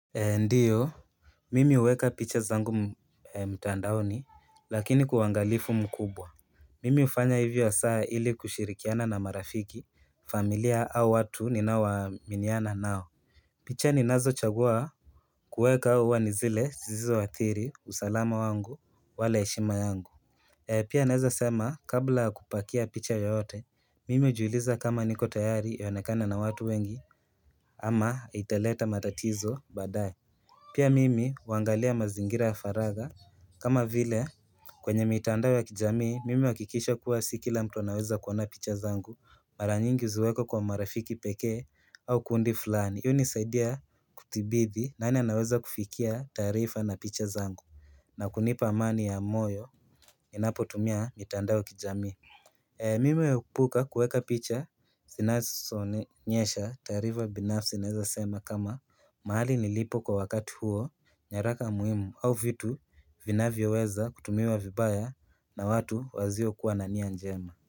Ndiyo, mimi huweka picha zangu mtandaoni, lakini kwa wangalifu mkubwa. Mimi hufanya hivyo hasaa ili kushirikiana na marafiki, familia au watu ninao waminiana nao. Picha ninazochagua kuweka au huwa nizile, zisizoathiri, usalama wangu, wala heshima yangu. Pia naeza sema kabla ya kupakia picha yoyote, mimi ujuuliza kama niko tayari ionekana na watu wengi ama italeta matatizo badaye. Pia mimi huangalia mazingira ya faragha kama vile kwenye mitandao ya kijami mimi huakikisha kuwa sikila mtu anaweza kuona picha zangu mara nyingi huziweka kwa marafiki pekee au kundi fulani. Huu unisaidia kutibidhi nani anaweza kufikia taarifa na picha zangu na kunipa amani ya moyo ninapotumia mitandao kijamii Mimi huepuka kuweka picha sinasoonyesha taarifa binafsi naweza sema kama, mahali nilipo kwa wakati huo, nyaraka muhimu au vitu vinavyoweza kutumiwa vibaya na watu wazio kuwa na nia njema.